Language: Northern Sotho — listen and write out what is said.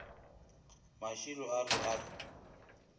mašilo a re a re